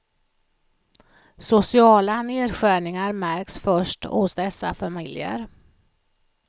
Sociala nedskärningar märks först hos dessa familjer.